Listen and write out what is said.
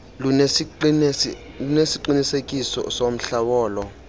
lunesiqinisekiso somhla wolo